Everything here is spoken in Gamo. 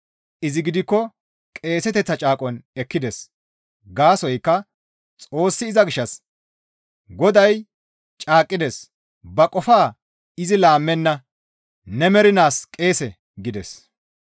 Izi gidikko qeeseteththaa caaqon ekkides. Gaasoykka Xoossi iza gishshas, «Goday caaqqides; ba qofaa izi laammenna; ‹Ne mernaas qeese› » gides.